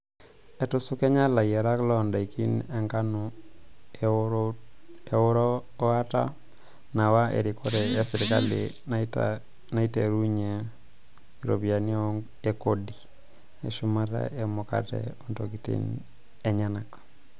Etusukenya layiarak loodaiki enkanu erotuata naawa erikore esirkali naiterunye iropiyiani e kodi eshumata e mukate ontokitin enyanak.